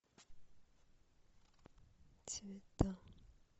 цвета